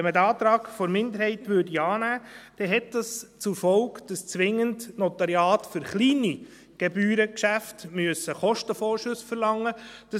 Wenn man den Antrag der Minderheit annehmen würde, hätte dies zur Folge, dass Notariate für kleine Gebührengeschäfte zwingend Kostenvorschüsse verlangen müssten.